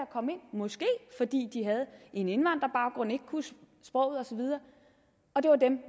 måske fordi de havde en indvandrerbaggrund ikke kunne sproget og så videre